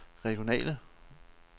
regionale